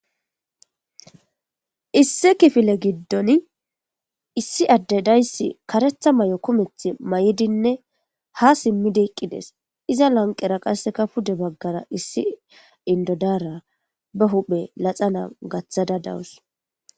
Issi kifile giddon issi adde dayss karetha mayo kumeth mayidinne ha simmidiqqides iza lanqera qasseka pude baggara issi indodaara ba huphe laxa nam gaththada dawus